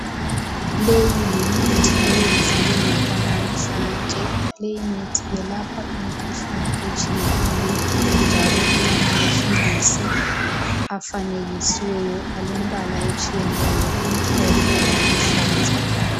Leyi yimithi eyenziwe ngokwanamuhlanje. Leyimithi iyelapha imkhuhlane etshiyeneyo. Njalo kulamaphilisi afanekisiweyo alembala etshiyeneyo, amhlophe laluhlaza.